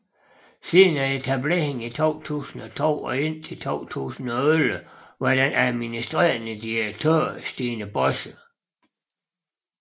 Siden etableringen i 2002 og indtil 2011 var den administrerende direktør Stine Bosse